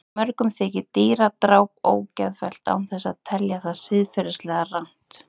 Mörgum þykir dýradráp ógeðfellt án þess að telja það siðferðilega rangt.